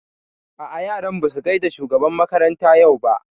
A'a yaran ba su gaida shugaban makaranta yau ba